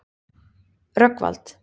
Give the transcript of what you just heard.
Rögnvald